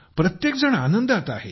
प्रत्येकजण आनंदात आहे